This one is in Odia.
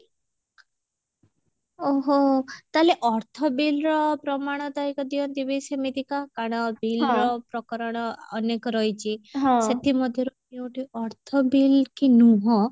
ଓଃ ହୋ ତାହେଲେ ଅର୍ଥ bill ର ପ୍ରମାଣ ଦାୟକ ଦିଅନ୍ତି ବି ସେମିତିକା କାରଣ bill ର ପ୍ରକରଣ ଅନେକ ରହିଛି ସେଥି ମଧ୍ୟରୁ ଯଉଠି ଅର୍ଥ bill କି ନୁହଁ